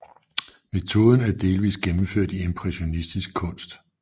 Metoden er delvis gennemført i impressionistisk kunst